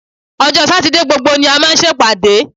Ọjọ́ Sátidé gbogbo ni a máa ń ṣèpàdé